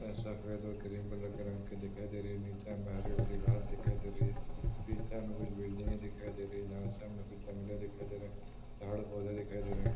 सफ़ेद और cream colour की दिखाई दे रही है। नीचे हरी-हरी घास दिखाई दे रही है। पीछे हमें कुछ बिल्डिंगें दिखाई दे रही है जहाँ से हमें कुछ जंगले दिखाई दे रहे हैं झाड-पौधे दिखाई दे रहे हैं।